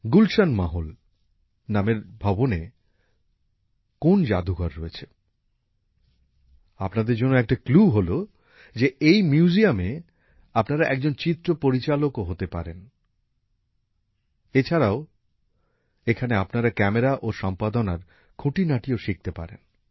গুলশান মহল নামের ভবনে কোন জাদুঘর রয়েছে আপনাদের জন্য একটা ক্লু হলো যে এই মিউজিয়ামে গিয়ে আপনারা একজন চিত্র পরিচালকও হতে পারেন এছাড়াও এখানে আপনারা ক্যামেরা ও সম্পাদনার খুঁটিনাটিও শিখতে পারেন